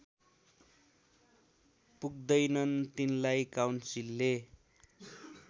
पुग्दैनन् तिनलाई काउन्सिलले